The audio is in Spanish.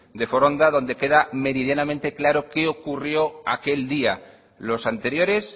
de foronda donde queda meridianamente claro qué ocurrió aquel día los anteriores